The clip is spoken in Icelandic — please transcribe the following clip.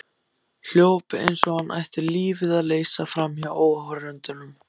Hljóp eins og hann ætti lífið að leysa framhjá áhorfendunum.